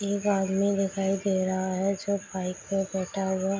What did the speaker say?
एक आदमी दिखाई दे रहा है जो बाइक पे बैठा हुआ --